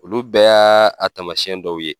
Olu bɛɛ y'a tamasiyɛn dɔw ye.